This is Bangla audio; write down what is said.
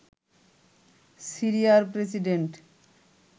সিরিয়ার প্রেসিডেন্ট